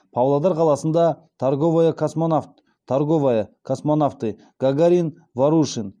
павлодар қаласында торговая космонавт торговая космонавты гагарин ворушин